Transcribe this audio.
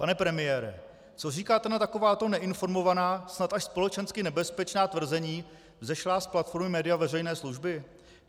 Pane premiére, co říkáte na takováto neinformovaná, snad až společensky nebezpečná tvrzení vzešlá z platformy média veřejné služby?